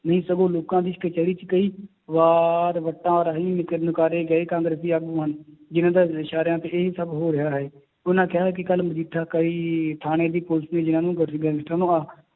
ਨਹੀਂ ਸਗੋਂ ਲੋਕਾਂ ਦੀ ਕਚਿਹਰੀ 'ਚ ਕਈ ਵਾਰ ਵੱਟਾਂ ਰਾਹੀਂ ਨਿਕ~ ਨਿਕਾਰੇ ਗਏ ਕਾਂਗਰਸੀ ਆਗੂ ਹਨ, ਜਿੰਨਾਂ ਦੇ ਇਸ਼ਾਰਿਆਂ ਤੇ ਇਹ ਸਭ ਹੋ ਰਿਹਾ ਹੈ, ਉਹਨਾਂ ਕਿਹਾ ਹੈ ਕਿ ਕੱਲ੍ਹ ਮਜੀਠਾ ਕਈ ਥਾਣੇ ਦੀ ਪੁਲਿਸ ਗੈਂਗਸਟਰਾਂ ਨੂੰ